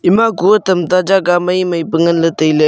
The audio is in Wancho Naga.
ema kue tam ta jaga maimai pe ngan ley tai ley.